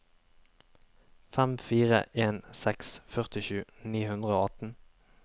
fem fire en seks førtisju ni hundre og atten